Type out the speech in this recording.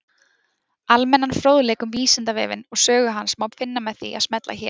Almennan fróðleik um Vísindavefinn og sögu hans má finna með því að smella hér.